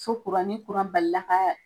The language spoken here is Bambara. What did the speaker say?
Fɔ kuran, ni kuran bali la